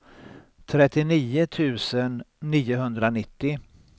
trettionio tusen niohundranittio